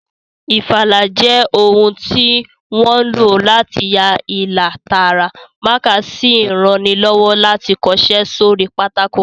Ìfalà jẹ́ ohun tí wọ́n ń lò láti ya ilà tààrà, mákà sì ń ranilọ́wọ́ láti kọṣẹ́ sórí pátákò